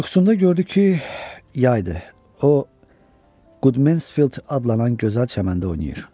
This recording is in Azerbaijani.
Yuxusunda gördü ki, yaydır, o Qudmensfild adlanan gözəl çəməndə oynayır.